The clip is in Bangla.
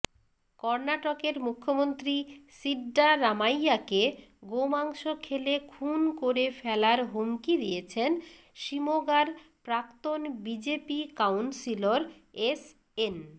কর্নাটকের মুখ্যমন্ত্রী সীড্ডারামাইয়াকে গোমাংস খেলে খুন করে ফেলার হুমকি দিয়েছেন শিমোগার প্রাক্তন বিজেপি কাউন্সিলর এসএন